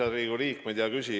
Head Riigikogu liikmed!